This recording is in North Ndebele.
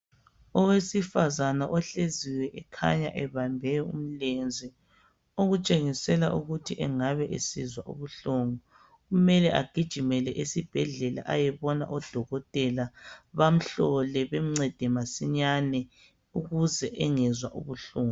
Owesifazana ohleziyo, ekhanya ebambe umlenze. Okutshengisela ukuthi angabe esizwa ubuhlungu. Kumele agijimele esibhedlela, ayebona odokotela. Bamhlole. Bamncede masinyane, ukuze engezwa ubuhlungu.